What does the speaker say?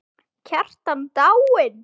Kjartan dáinn!